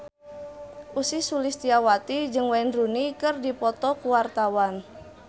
Ussy Sulistyawati jeung Wayne Rooney keur dipoto ku wartawan